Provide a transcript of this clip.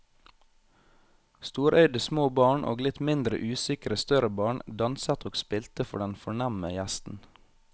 Storøyde små barn og litt mindre usikre større barn danset og spilte for den fornemme gjesten.